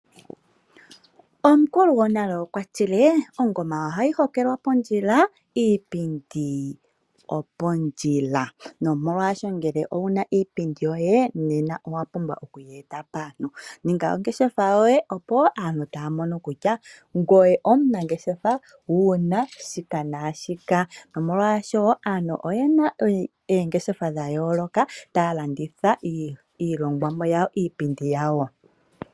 Omukulu gwonale okwa tile ongoma ohayi hokelwa pondjila iipindi opondjila omolwasho ngele owuna iipindi yoye nena owuna okuyi. Ninga ongeshefa yoye, opo aantu taya mono kutya ngoye omunangeshefa wuna shika nashiyaka molwashoka aantu oyena oongeshefa dha yooloka taya landitha iihongomwa iipindi yawo.